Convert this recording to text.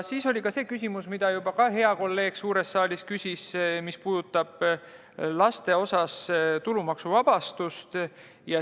Veel oli üks küsimus, mida samuti hea kolleeg suures saalis juba küsis ja mis puudutab laste osas tulumaksuvabastust.